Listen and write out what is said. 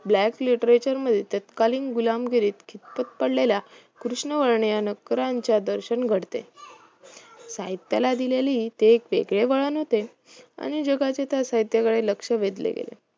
Black Literature म्हणजे तत्कालीन गुलामगिरीत खितपत पडलेल्या कृष्णवर्णी नोकरांचे दर्शन घडते साहित्याला दिलेली ते एक वेगळे वळण होते आणि जगाचे त्या साहित्याकडे लक्ष वेधले गेले